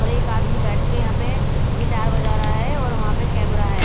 और एक आदमी बैठ के यहां पे गिटार बजा रहा है और वहां पे कैमरा है।